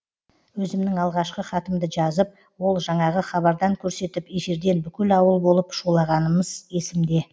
өзімнің алғашқы хатымды жазып ол жаңағы хабардан көрсетіп эфирден бүкіл ауыл болып шулағанымыз есімде